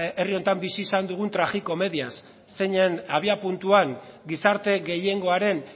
herri honetan bizi izan dugun tragikomediaz zeinen abiapuntuan gizarte gehiengoaren